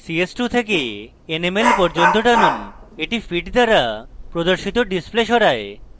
ch2 থেকে nml পর্যন্ত টানুন এটি fit দ্বারা প্রদর্শিত display সরায়